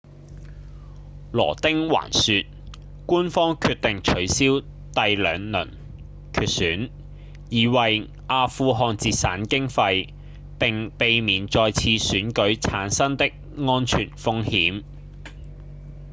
羅汀還說官方決定取消第兩輪決選以為阿富汗節省經費並避免再次選舉產生的安全風險